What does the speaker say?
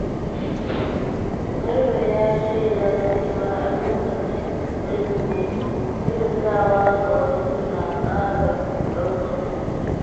Garba ya shaida cewa a lokacin Ƙirsimeti, kyautatawa ga wasu na ƙara ɗaukaka mutum.